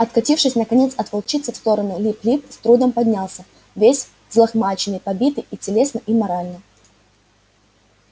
откатившись наконец от волчицы в сторону лип лип с трудом поднялся весь взлохмаченный побитый и телесно и морально